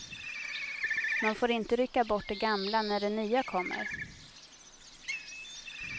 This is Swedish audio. Man får inte rycka bort det gamla när det nya kommer.